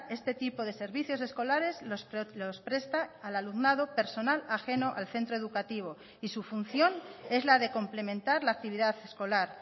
este tipo de servicios escolares los presta al alumnado personal ajeno al centro educativo y su función es la de complementar la actividad escolar